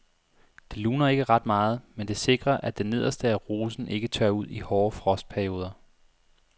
Det luner ikke ret meget, men det sikrer at det nederste af rosen ikke tørrer ud i hårde frostperioder.